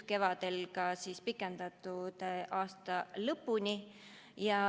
Kevadel pikendati seda aasta lõpuni.